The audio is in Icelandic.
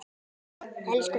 Elsku Binni.